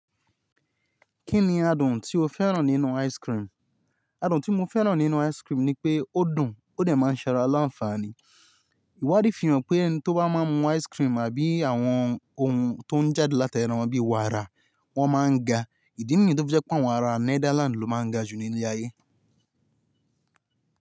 Kí ni adùn tí o fẹ́ràn nínú ice cream? Adùn tí mo fẹ́ràn nínú ice cream ni pé ó dùn, ó dẹ̀ máa ń ṣe ara lanfafàní. Ìwádìí fi hàn pé ẹni tó bá máa mu ice cream àbí àwọn ohun tó ń jáde láta ẹran bí i wàrà, wọ́n máa ń ga. Ìdí nìyí ló jẹ́ pé àwọn ará Netherlands ló máa ń ga jù ní ilé ayé.